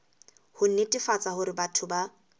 ho netefatsa hore batho ba